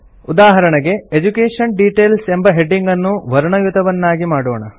ಉದಾಹರಣೆಗೆ education details ಎಂಬ ಹೆಡಿಂಗನ್ನು ವರ್ಣಯುತವನ್ನಾಗಿ ಮಾಡೋಣ